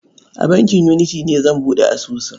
A bankin Unity ne zan buɗe asusun.